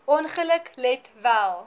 ongeluk let wel